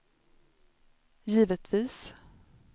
givetvis